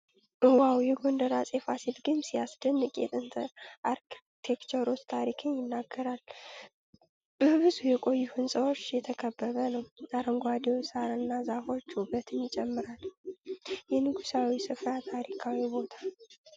ዋው! የጎንደር አጼ ፋሲል ግንብ ሲያስደንቅ ! የጥንት አርክቴክቸር ታሪክን ይናገራል ። በብዙ የቆዩ ሕንፃዎች የተከበበ ነው ። አረንጓዴው ሣርና ዛፎች ውበቱን ይጨምራሉ!። የንጉሣዊው ሥፍራ ታሪካዊ ቦታ!